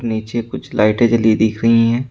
नीचे कुछ लाइटें जली दिख रही हैं।